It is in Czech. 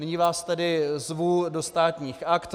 Nyní vás tedy zvu do Státních aktů.